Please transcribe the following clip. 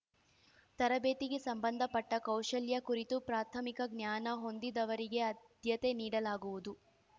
ತರಬೇತಿಗೆ ಸಂಬಂಧಪಟ್ಟಕೌಶಲ್ಯ ಕುರಿತು ಪ್ರಾರ್ಥಮಿಕ ಜ್ಞಾನ ಹೊಂದಿದವರಿಗೆ ಆದ್ಯತೆ ನೀಡಲಾಗುವುದು